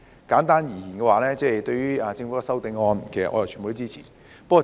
簡單而言，對於政府的修正案，其實我全部都支持。